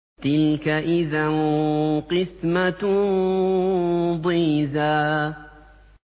تِلْكَ إِذًا قِسْمَةٌ ضِيزَىٰ